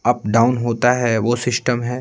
Up -down होता है वो शिस्टम है।